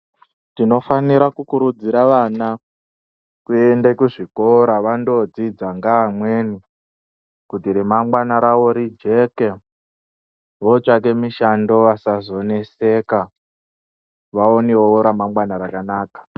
Tinofanira kukurudzira vana kuende kuzvikora vandodzidza ngaamweni kuti remangwana ravo rijeke. Votsvake mishando vasazoneseka vaonevo ramangwana rakanaka.